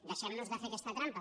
deixem nos de fer aquesta trampa